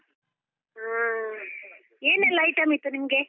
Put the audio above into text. ಹಾ, ಏನೆಲ್ಲಾ item ಇತ್ತು ನಿಮ್ಗೆ?